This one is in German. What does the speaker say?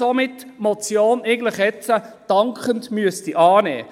Somit müsste er aber jetzt eigentlich auch die Motion dankend annehmen.